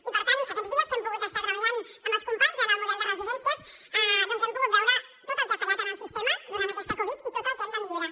i per tant aquests dies que hem pogut estar treballant amb els companys en el model de residències hem pogut veure tot el que ha fallat en el sistema durant aquesta covid i tot el que hem de millorar